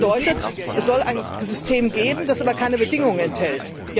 Das bedeutet, es soll ein System geben, das aber keine Bedingungen enthält.